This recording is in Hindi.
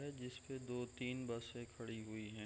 है जिस में दो तीन बसे खड़ी हुईं हैं ।